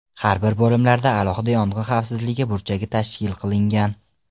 Har bir bo‘limlarda alohida yong‘in xavfsizligi burchagi tashkil qilingan.